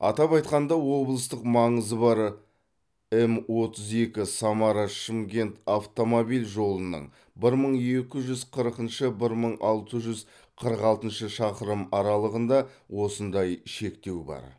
атап айтқанда облыстық маңызы бар м отыз екі самара шымкент автомобиль жолының бір мың екі жүз қырқыншы бір мың алты жүз қырық алтыншы шақырым аралығында осындай шектеу бар